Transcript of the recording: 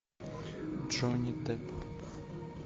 джонни депп